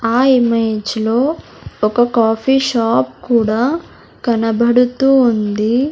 ఆ ఇమేజ్ లో ఒక కాఫీ షాప్ కూడా కనబడుతూ ఉంది.